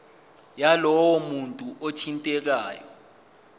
yalowo muntu othintekayo